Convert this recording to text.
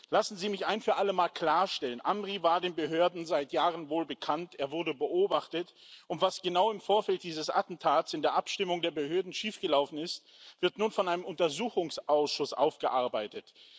Lassen Sie mich ein für allemal klarstellen Amri war den Behörden seit Jahren wohlbekannt, er wurde beobachtet, und was genau im Vorfeld dieses Attentats in der Abstimmung der Behörden schiefgelaufen ist, wird nun von einem Untersuchungsausschuss aufgearbeitet.